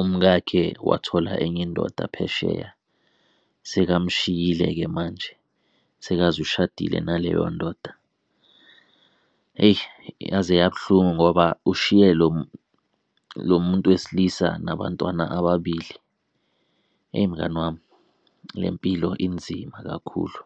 umkakhe wathola enye indoda phesheya. Sekamshiyile-ke manje sekaze ushadile naleyo ndoda. Eyi, yaze yabuhlungu ngoba ushiye lo lo muntu wesilisa nabantwana ababili. Eyi, mngani wami le mpilo inzima kakhulu.